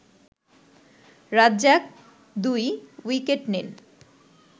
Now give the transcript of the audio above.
Razzak ২ wicket নেন